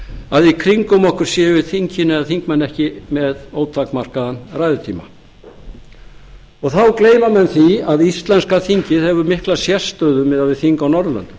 að í kringum okkur séu þingin eða þingmenn ekki með ótakmarkaðan ræðutíma þá gleyma menn því að íslenska þingið hefur mikla sérstöðu miðað við þing á norðurlöndum